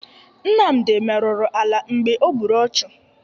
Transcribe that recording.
Nmamdị merụrụ ala mgbe o gburu ọchụ.